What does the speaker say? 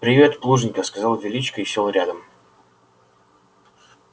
привет плужников сказал величко и сел рядом